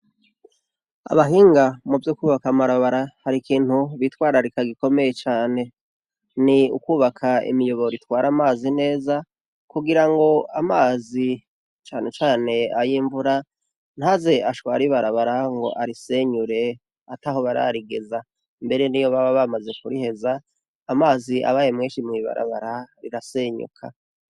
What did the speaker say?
Abahinga muvyo kubaka amabarabara harikintu bitwararika gikomeye cane ni ukubaka imiyobora itwara amazi neza kugirango amazi cane cane ayimvura ntaze ashware ibarabara ngo arisenyure ataho bararigeza mbere niyo bamaze kuriheza amazi abaye menshi mwibarabara rirasenyuka